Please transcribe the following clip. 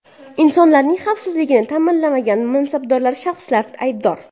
Insonlarning xavfsizligini ta’minlamagan mansabdor shaxslar aybdor.